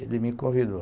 Ele me convidou.